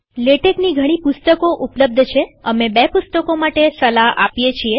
લેટેકની ઘણી પુસ્તકો ઉપલબ્ધ છેઅમે બે પુસ્તકો માટે સલાહ આપીએ છીએ